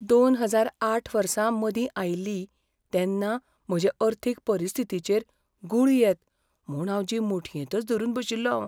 दोन हजार आठ वर्सा मंदी आयली तेन्ना म्हजे अर्थीक परिस्थितीचेर गुळी येत म्हूण जीव मुठयेंतच धरून बशिल्लों हांव.